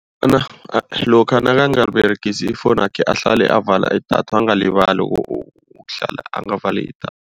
lokha nakangaberegisi ifowunakhe ahlale avala idatha. Angalibali ukuhlala angavali idatha.